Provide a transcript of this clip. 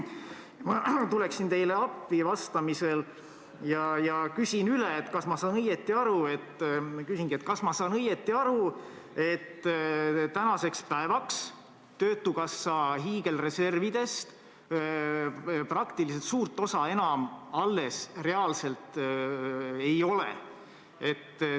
Ma tulen teile vastamisel appi ja küsin üle: kas ma saan õigesti aru, et tänaseks päevaks töötukassa hiigelreservidest suurt osa reaalselt enam alles ei ole?